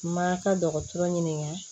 Ma ka dɔgɔtɔrɔ ɲininka